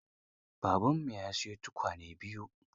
Babanmu ya siyi tukwane biyu.